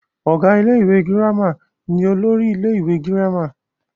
ọ̀gá ilé ìwé girama ni olórí ilé ìwé girama